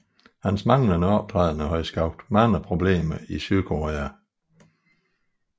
Hans manglende optrædener havde skabt mange problemer i Sydkorea